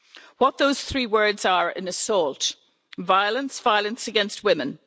What those three words are an assault violence, violence against women.